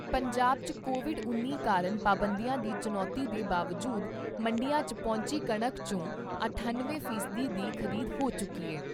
ਪੰਜਾਬ 'ਚ ਕੋਵਿਡ ਉੱਨੀ ਕਾਰਨ ਪਾਬੰਦੀਆਂ ਦੀ ਚੁਣੌਤੀ ਦੇ ਬਾਵਜੂਦ ਮੰਡੀਆਂ 'ਚ ਪਹੁੰਚੀ ਕਣਕ ' ਚੋਂ ਅਠੱਨਵੇਂ ਫੀਸਦੀ ਦੀ ਖ਼ਰੀਦ ਹੋ ਚੁੱਕੀ ਏ।